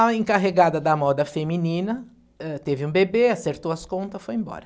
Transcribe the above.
A encarregada da moda feminina, ãh, teve um bebê, acertou as contas, foi embora.